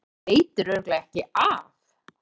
Það veitir örugglega ekki af.